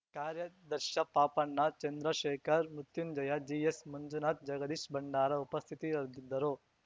ಕಾರ್ಯಾಧ್ಯಕ್ಷ ಪಾಪಣ್ಣ ಚಂದ್ರಶೇಖರ್‌ ಮೃತ್ಯುಂಜಯ ಜಿಎಸ್‌ಮಂಜುನಾಥ್‌ ಜಗದೀಶ್‌ಬಂಡಾರ ಉಪಸ್ಥಿತಿಯಾರಿದ್ದರು